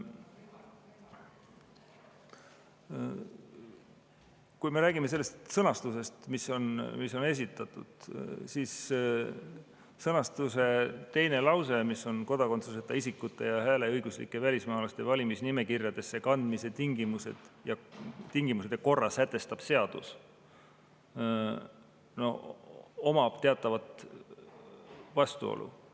Kui me räägime eelnõu sõnastusest, mis on esitatud, siis selle teises lauses "Kodakondsuseta isikute ja hääleõiguslike välismaalaste valimisnimekirjadesse kandmise tingimused ja korra sätestab seadus." on teatav vastuolu.